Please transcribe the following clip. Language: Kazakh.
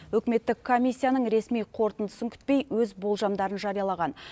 үкіметтік комиссияның ресми қорытындысын күтпей өз болжамдарын жариялаған